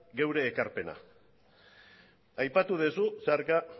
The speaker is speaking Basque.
geure ekarpena aipatu duzu zeharka